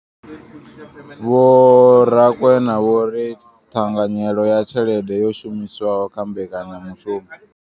Vho Rakwena vho ri ṱhanganyelo ya tshelede yo shumiswaho kha mbekanyamushumo.